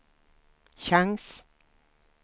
chans